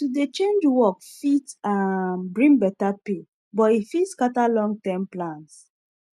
to dey change work fit um bring better pay but e fit scatter longterm plans